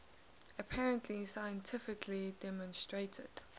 apparently scientifically demonstrated